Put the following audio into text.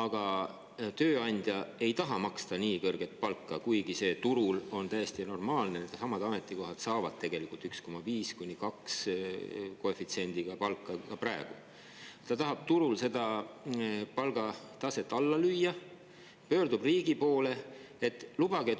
Aga kui tööandja ei taha maksta nii kõrget palka – kuigi turul on see täiesti normaalne, et samadel ametikohtadel saadakse tegelikult 1,5–2 koefitsiendiga palka – ja ta tahab turul seda palgataset alla lüüa, pöördub ta riigi poole, et suurendaks